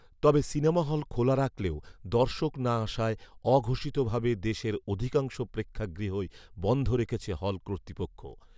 তবে cinema hall খোলা রাখলেও দর্শক না আসায় ‘অঘোষিতভাবে’ দেশের অধিকাংশ প্রেক্ষাগৃই বন্ধ রেখেছে হল কর্তৃপক্ষ